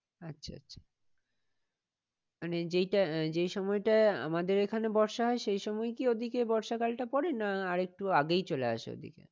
আচ্ছা আচ্ছা মানে যেটা আহ যেই সময়টা আমাদের এখানে বর্ষা হয় সেই সময় কি ওদিকে বর্ষা কালটা পরে না আর একটু আগেই চলে আসে ওদিকে?